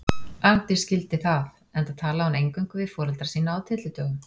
Arndís skildi það, enda talaði hún eingöngu við foreldra sína á tyllidögum.